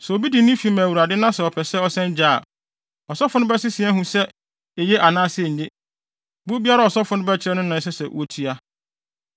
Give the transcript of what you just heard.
“ ‘Sɛ obi de ne fi ma Awurade na sɛ ɔpɛ sɛ ɔsan gye a, ɔsɔfo no bɛsese ahu sɛ eye anaasɛ enye. Bo biara a ɔsɔfo no bɛkyerɛ no na ɛsɛ sɛ wotua.